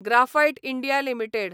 graphite India limited